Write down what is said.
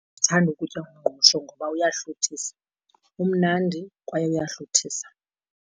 Ndithanda ukutya umngqusho ngoba uyahluthisa, umnandi kwaye uyahluthisa.